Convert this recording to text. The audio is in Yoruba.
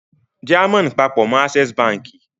Diamond papọ̀ mọ́ Access Báńkì.